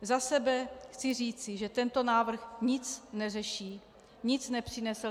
Za sebe chci říci, že tento návrh nic neřeší, nic nepřinese.